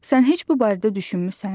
Sən heç bu barədə düşünmüsən?